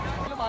Bax indi.